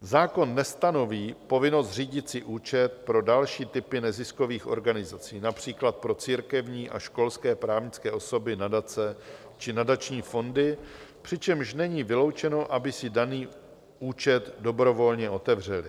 Zákon nestanoví povinnost zřídit si účet pro další typy neziskových organizací, například pro církevní a školské právnické osoby, nadace či nadační fondy, přičemž není vyloučeno, aby si daný účet dobrovolně otevřely.